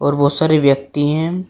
और बहुत सारे व्यक्ति हैं।